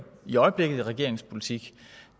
i øjeblikket i regeringens politik